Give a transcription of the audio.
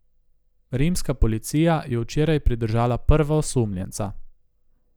Rimska policija je včeraj pridržala prva osumljenca.